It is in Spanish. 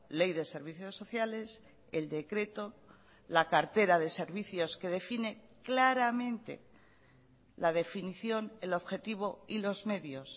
ley de servicios sociales el decreto la cartera de servicios que define claramente la definición el objetivo y los medios